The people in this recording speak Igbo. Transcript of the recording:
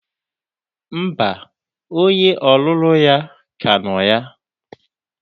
Mba, onye ọlụlụ ya ka nọ ya.